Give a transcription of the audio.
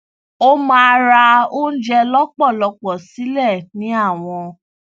ó máa ra oúnjẹ lọpọlọpọ sílẹ ní àwọn